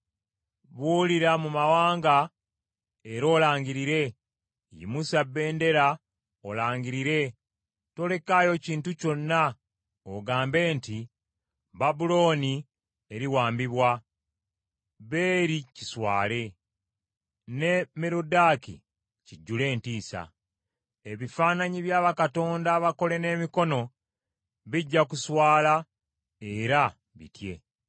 “Buulira mu mawanga era olangirire, yimusa bendera olangirire, tolekaayo kintu kyonna ogambe nti, ‘Babulooni eriwambibwa; Beri kiswale, ne Meroddaaki kijjule entiisa. Ebifaananyi bya bakatonda abakole n’emikono bijja kuswala era bitye.’